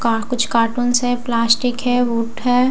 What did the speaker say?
कुछ कार्टून्स हैं प्लास्टिक हैं हैं।